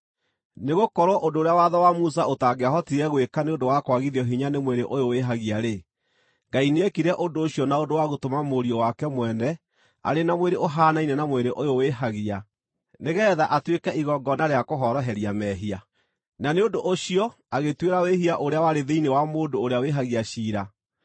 Nĩgũkorwo ũndũ ũrĩa watho wa Musa ũtangĩahotire gwĩka nĩ ũndũ wa kwagithio hinya nĩ mwĩrĩ ũyũ wĩhagia-rĩ, Ngai nĩekire ũndũ ũcio na ũndũ wa gũtũma Mũriũ wake mwene arĩ na mwĩrĩ ũhaanaine na mwĩrĩ ũyũ wĩhagia, nĩgeetha atuĩke igongona rĩa kũhoroheria mehia. Na nĩ ũndũ ũcio agĩtuĩra wĩhia ũrĩa warĩ thĩinĩ wa mũndũ ũrĩa wĩhagia ciira,